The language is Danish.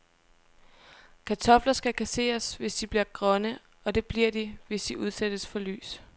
Kartofler skal kasseres, hvis de bliver grønne, og det bliver de, hvis de udsættes for lys.